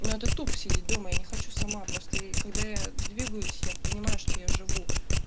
ну это тупо сидеть дома я не хочу сама просто когда я двигаюсь я понимаю что я живу